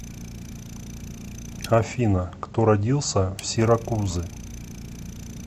афина кто родился в сиракузы